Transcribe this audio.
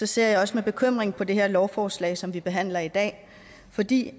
ser jeg også med bekymring på det her lovforslag som vi behandler i dag fordi